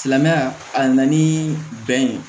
Silamɛya a nana ni bɛn ye